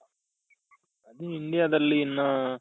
ಈ Indiaದಲ್ಲಿ ಇನ್ನ